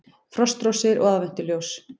Frostrósir og aðventuljós